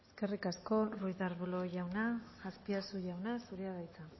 eskerrik asko ruiz de arbulo jauna azpiazu jauna zurea da hitza